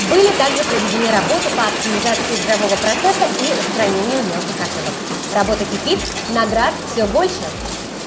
были также проведены работы по оптимизации игрового процесса и устранению мелких ошибок работа кипит наград всё больше